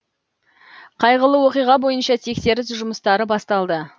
қайғылы оқиға бойынша тексеріс жұмыстары басталды